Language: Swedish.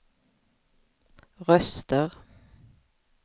röster